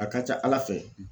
A ka ca Ala fɛ